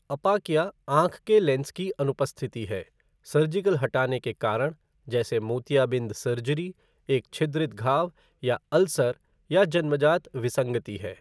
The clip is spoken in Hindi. अपाकिया आँख के लेंस की अनुपस्थिति है, सर्जिकल हटाने के कारण, जैसे मोतियाबिंद सर्जरी, एक छिद्रित घाव या अल्सर, या जन्मजात विसंगति है।